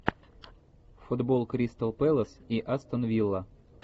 футбол кристал пэлас и астон вилла